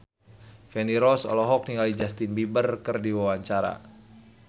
Feni Rose olohok ningali Justin Beiber keur diwawancara